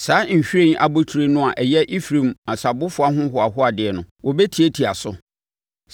Saa nhwiren abotire no a ɛyɛ Efraim asabofoɔ ahohoahoadeɛ no, wɔbɛtiatia so.